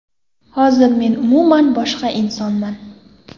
Hozir men umuman boshqa insonman.